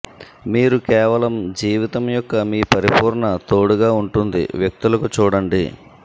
మీరు కేవలం జీవితం యొక్క మీ పరిపూర్ణ తోడుగా ఉంటుంది వ్యక్తులకు చూడండి